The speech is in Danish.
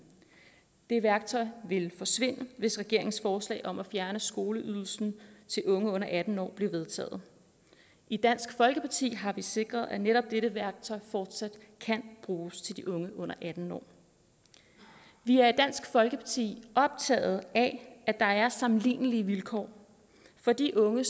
det værktøj ville forsvinde hvis regeringens forslag om at fjerne skoleydelsen til unge under atten år blev vedtaget i dansk folkeparti har vi sikret at netop dette værktøj fortsat kan bruges til de unge under atten år vi er i dansk folkeparti optaget af at der er sammenlignelige vilkår for de unge